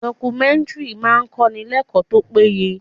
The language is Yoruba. Documentary máa ń kọ́ni l'ekoo tó péye.